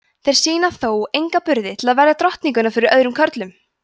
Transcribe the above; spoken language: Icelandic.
þeir sýna þó enga burði til að verja drottninguna fyrir öðrum körlum